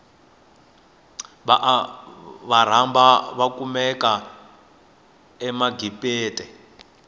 vaarabhu vakumeka agibite